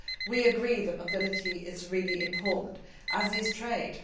We agree that mobility is really important, as is